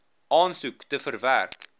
aansoek te verwerk